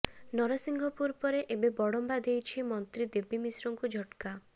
ନରସିଂହପୁର ପରେ ଏବେ ବଡମ୍ବା ଦେଇଛି ମନ୍ତ୍ରୀ ଦେବୀ ମିଶ୍ରଙ୍କୁ ଝଟକା